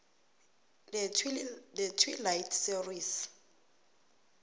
the twilight series